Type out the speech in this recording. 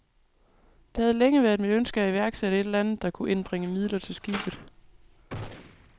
Det havde længe været mit ønske at iværksætte et eller andet, der kunne indbringe midler til skibet.